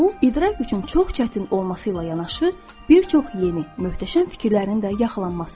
Bu, idrak üçün çox çətin olması ilə yanaşı, bir çox yeni, möhtəşəm fikirlərin də yaxalanmasıdır.